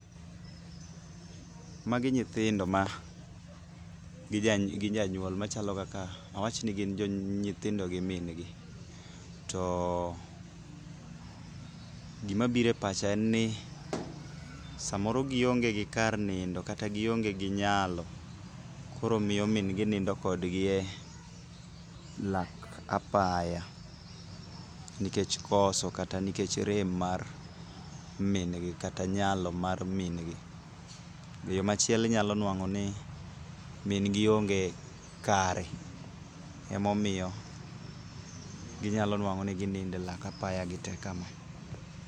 Magi nyithindo ma, gi janyuol machalo kaka. awach ni gin nyithindo gi min gi. to gimabiro e pacha en ni samoro gionge gi kar nindo kata gionge gi nyalo, koro miyo min gi nindo kodgi e lak apaya, nikech koso kata nikech rem mar min gi, kata nyalo mar min gi. E yo machielo inyalo nwang'o ni min gi onge kare, emomiyo ginyalo nwang'o ni ginindo e lak apaya gite kama.